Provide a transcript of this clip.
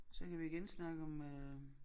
Så kan vi igen snakke om øh